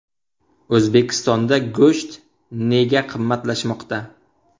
O‘zbekistonda go‘sht nega qimmatlashmoqda?.